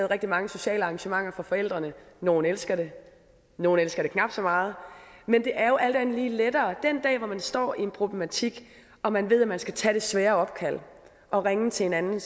rigtig mange sociale arrangementer for forældrene nogle elsker det nogle elsker det knap så meget men det er jo alt andet lige lettere den dag man står i en problematik og man ved at man skal tage det svære opkald og ringe til en anden